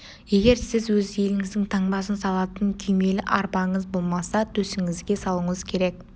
егер сіз өз еліңіздің таңбасын салатын күймелі арбаңыз болмаса төсіңізге салуыңыз керек